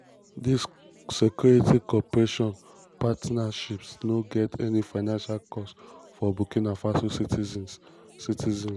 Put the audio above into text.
dis security cooperation partnerships no get any financial costs for burkina faso citizens. citizens.